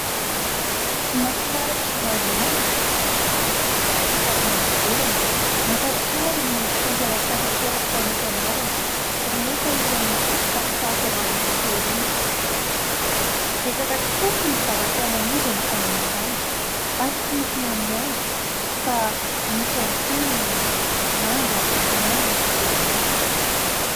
mofomamy maromaro avy any ivelany mampatsiahy ny fitoam-pialatsasatray tany am-pianarana rehefa ilay mividy tsakitsaka ao amin'ny masera iny betsaka tokoa ny zavatra namidiny tamin'izany ary tsy mofomamy ihany fa nisy ihany koa ny manga na ny letsia